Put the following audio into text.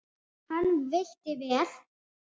Hann veitti vel